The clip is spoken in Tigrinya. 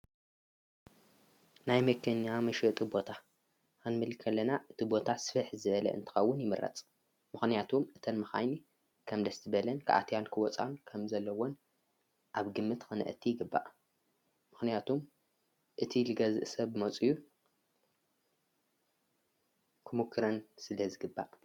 ናይ መኪና መሸጢ ቦታ ክንብል ከለና እቲ ቦታስፍሕ ዝበለ እንትከውን ይምረፅ ምክንያቱ እቲን መካይን ከም ድልየሀተን ክኣትዋን ክወፃኣን ከም ዘለወን ኣብ ግምት ክንእትወን ይግባእ ምክንያቱ እቲ ዝገዝእ ሰብ መፅኡ ክሙክረን ስለ ዝግባእ።